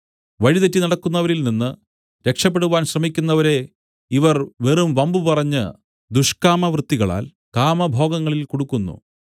വഴിതെറ്റി നടക്കുന്നവരിൽനിന്ന് രക്ഷപെടുവാൻ ശ്രമിക്കുന്നവരെ ഇവർ വെറും വമ്പുപറഞ്ഞ് ദുഷ്കാമവൃത്തികളാൽ കാമഭോഗങ്ങളിൽ കുടുക്കുന്നു